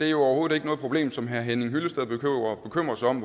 er overhovedet ikke noget problem som herre henning hyllested behøver at bekymre sig om